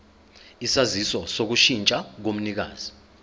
isaziso sokushintsha komnikazi